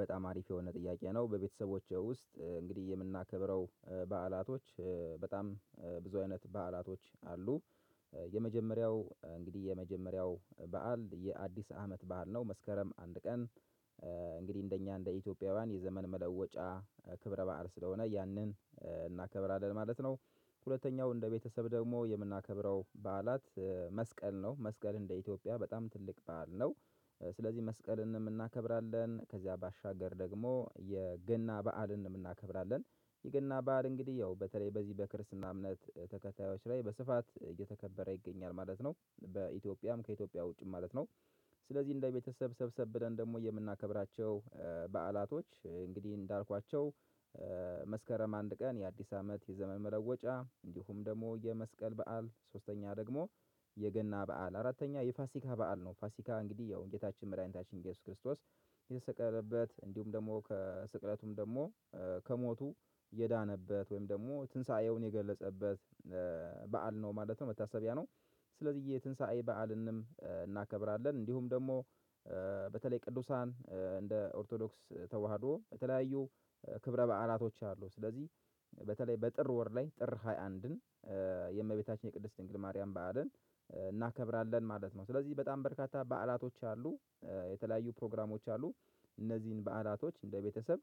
በጣም አሪፍ የሆነ ጥያቄ ነው። በቤተሰቦቼ ውስጥ እንግዲህ የምናከብረው በዓላቶች ብዙ አይነት በዓላቶች አሉ። የመጀመሪያው እንግዲህ የመጀመሪያው በዓል የአዲስ አመት በዓል ነው። መስከረም አንድ ቀን። እንግዲህ እንደኛ እንደ ኢትዮጵያውያን የዘመን መለወጫ ክብረ በዓል ስለሆነ ያንን እናከብራለን ማለት ነው። ሁለተኛው እንደ ቤተሰብ ደግሞ የምናከብረው በዓላት መስቀል ነው። መስቀል እንደ ኢትዮጵያ በጣም ትልቅ በዓል ነው። ስለዚህ መስቀልንም እናከብራለን ከዚያ ባሻገር ደግሞ የገና በዓልን እናከብራለን። የገና በዓል እንግዲህ ያው በተለይ በዚህ በክርስትና እምነት ተከታዮች ላይ በስፋት እየተከበረ ይገኛል ማለት ነው። በኢትዮጵያም ከኢትዮጵያ ውጪም ማለት ነው። ስለዚህ እንደ ቤተሰብ ሰብሰብ ብለን ደግሞ የምናከብራቸው በዓላቶች እንግዲህ እንዳልኳቸው። መስከረም አንድ ቀን የአዲስ አመት የዘመን መለወጫ እንዲሁም ደግሞ የመስቀል በዓል ሶስተኛ ደግሞ። የገና በዓል አራተኛ የፋሲካ በዓል ነው። ፋሲካ እንግዲህ ያው ጌታችን መድኃኒታችን እየሱስ ክርስቶስ። የተሰቀለበት እንዲሁም ደግሞ ከስቅለቱም ደግሞ ከሞቱ የዳነበት ወይም ደግሞ ትንሳኤውን የገለጸበት። በዓል ነው ማለት ነው መታሰቢያ ነው። ስለዚህ የትንሳኤ በዓልንም እናከብራለን እንዲሁም ደግሞ። በተለይ ቅዱሳን እንደ ኦርቶዶክስ ተዋህዶ በተለያዩ ክብረ በዓላቶች አሉ። ስለዚህ። በተለይ በጥር ወር ላይ ጥር ሃያ አንድን የእመቤታችን የቅድስት ድንግል ማርያም በዓልን እናከብራለን ማለት ነው። ስለዚህ በጣም በርካታ በዓላቶች አሉ። የተለያዩ ፕሮግራሞች አሉ። እነዚህን በዓላቶች እንደ ቤተሰብ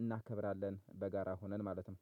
እናከብራለን በጋራ ሆነን ማለት ነው